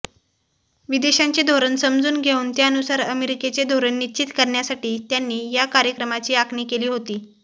विदेशांचे धोरण समजून घेऊन त्यानुसार अमेरिकेचे धोरण निश्चित करण्यासाठी त्यांनी या कार्यक्रमाची आखणी केली होती